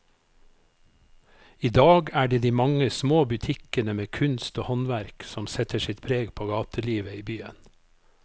I dag er det de mange små butikkene med kunst og håndverk som setter sitt preg på gatelivet i byen.